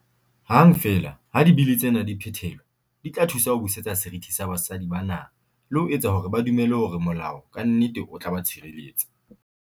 Hang feela ha Dibili tsena di phethelwa, di tla thusa ho busetsa serithi sa basadi ba naha le ho etsa hore ba dumele hore molao ka nnete o tla ba tshirelletsa.